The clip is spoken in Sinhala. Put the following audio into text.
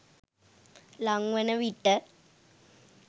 ළං වන විට